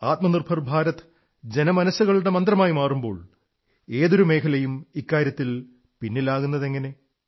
ആത്മനിർഭർ ഭാരത് ജനമനസ്സുകളുടെ മന്ത്രമായി മാറുമ്പോൾ ഏതൊരു മേഖലയും ഇക്കാര്യത്തിൽ പിന്നിലാകുന്നതെങ്ങനെ